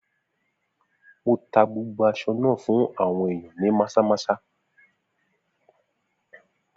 Mo tá gbogbo aṣọ náà fún àwọn ìyàn ní Maza-maza.